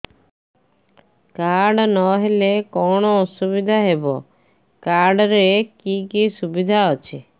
card ନହେଲେ କଣ ଅସୁବିଧା ହେବ କାର୍ଡ ରେ କି କି ସୁବିଧା ଅଛି